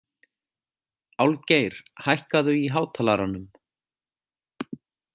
Álfgeir, hækkaðu í hátalaranum.